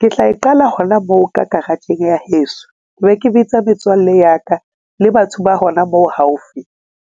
Ke tla e qala hona moo ka garage-eng ya heso. Be ke bitsa metswalle ya ka le batho ba hona moo haufi